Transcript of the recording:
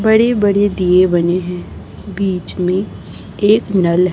बड़े बड़े दिए बने हैं बीच में एक नल है।